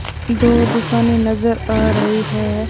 दो दुकानें नज़र आ रही है।